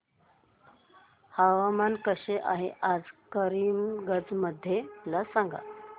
हवामान कसे आहे आज करीमगंज मध्ये मला सांगा